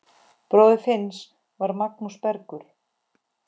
Bróðir Finns var Magnús Bergur.